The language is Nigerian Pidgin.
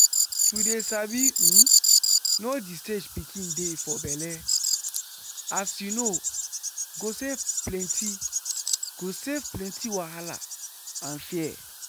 to dey sabi um know the stage pikin dey for belle as you know go save plenty go save plenty wahala and fear.